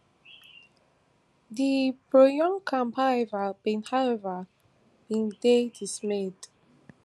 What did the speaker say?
di proyoon camp however bin however bin dey dismayed